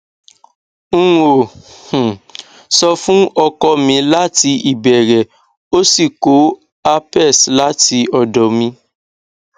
n ò um sọ fún ọkọ mi láti ìbẹrẹ ó sì kó herpes láti ọdọ mi